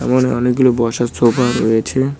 এমন অনেকগুলো বসার সোফা রয়েছে।